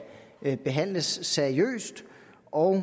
behandles seriøst og